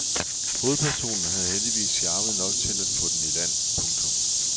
Hovedpersonen havde heldigvis charme nok til at få den i land. punktum